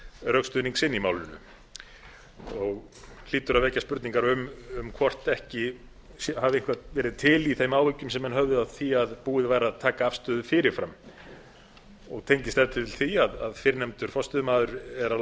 rökstuðning sinn í málinu það hlýtur að vekja spurningar um hvort ekki hafi eitthvað verið til í þeim áhyggjum sem menn höfðu af því að búið væri að taka afstöðu fyrir fram það tengist ef til vill því að fyrrnefndur forstöðumaður er að